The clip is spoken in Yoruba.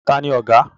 Tani ọ̀gá?